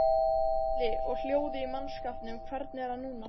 Gísli: Og hljóðið í mannskapnum hvernig er það núna?